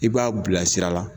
I b'a bilasira la.